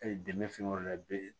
dɛmɛ fɛn wɛrɛ la i be